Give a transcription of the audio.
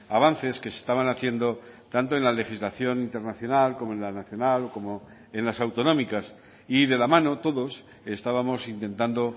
avances que se estaban haciendo tanto en la legislación internacional como en la nacional como en las autonómicas y de la mano todos estábamos intentando